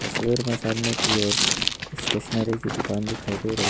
शिविर में सामने की ओर स्टेशनरी की दुकान दिखाई दे रही--